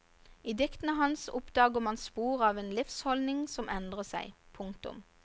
I diktene hans oppdager man spor av en livsholdning som endrer seg. punktum